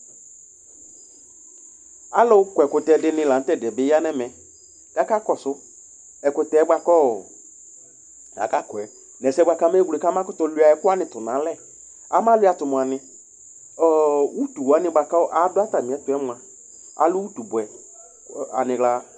Alʋ kɔ ɛkʋtɛ dini la n't'ɛdi yɛ bi ya n'ɛmɛk'aka kɔsʋ ɛkʋtɛ bua kɔɔ aka kɔyɛ n'sɛ bua k'amewle k'ama kʋtʋ liua ɛkʋwani tʋ n'alɛ Ama liua tʋ muani? Ɔɔ utu wani bua kʋ adʋ atami ɛtʋ yɛ mua, alɛ utu bʋɛ, aniɣla